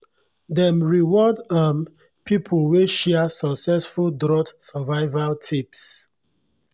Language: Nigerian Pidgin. dem reward um people wey share successful drought survival tips